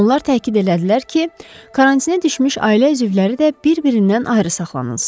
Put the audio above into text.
Onlar təkid elədilər ki, karantinə düşmüş ailə üzvləri də bir-birindən ayrı saxlanılsın.